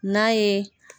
N'a ye